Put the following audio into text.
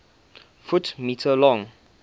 ft m long